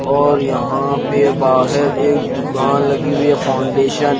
और यहां पे बाहेर एक दुकान लगी हुई है फाउण्डेशन --